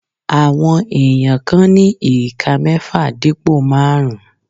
Àwọn èèyàn kan ní ìka mẹ́ẹ́fà dípò máàrún